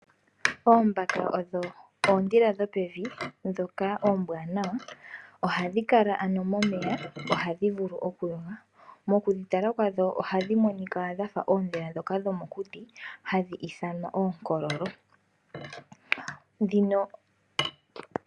Oombaka odho oondhila dhp pevi ndhoka oombwanawa nohadhi kala momeya. Mokudhi tala kwadho ohadhi monika dhafa oondhila dhomokuti hadhi ithanwa oonkololo.